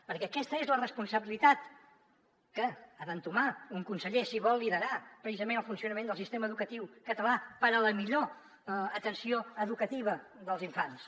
perquè aquesta és la responsabilitat que ha d’entomar un conseller si vol liderar precisament el funcionament del sistema educatiu català per a la millor atenció educativa dels infants